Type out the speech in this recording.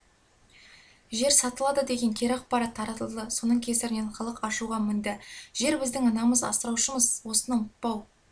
жер сатылады деген кері ақпарат таратылды соның кесірінен халық ашуға мінді жербіздің анамыз асыраушымыз осыны ұмытпау